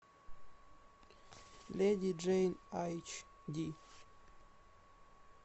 леди джейн эйч ди